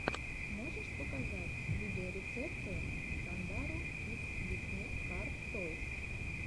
можешь показать видеорецепты сандару кидс дисней кар тойс